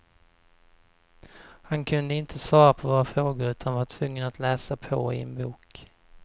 Han kunde inte svara på våra frågor utan att var tvungen att läsa på i en bok.